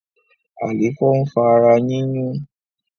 Àléfọ ń fa ara yiyun